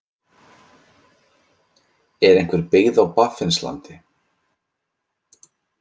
Er einhver byggð á Baffinslandi?